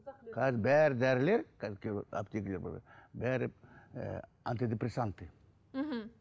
қазір дәрілер бәрі ы антидепрессанты мхм